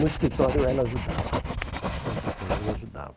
No escritório ela ajudava. No escritório ela ajudava.